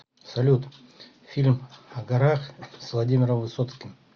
салют фильм о горах с владимиром высоцким